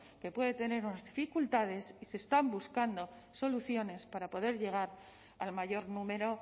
que puede tener unas dificultades y se están buscando soluciones para poder llegar al mayor número